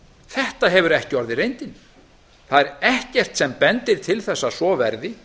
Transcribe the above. þetta hefur ekki orðið reyndin það er ekkert sem bendir til þess að svo verði